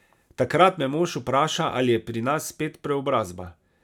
Takrat me mož vpraša, ali je pri nas spet preobrazba.